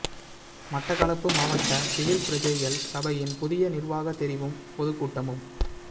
மட்டக்களப்பு மாவட்ட சிவில் பிரஜைகள் சபையின் புதிய நிர்வாக தெரிவும் பொதுக்கூட்டமும்